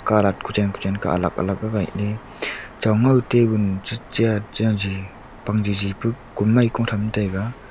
kalat kuchen kuchen Kah alag alag gagaile chon ngau tabun che cheat chaji pangjiji pu kumei ko tham taiga.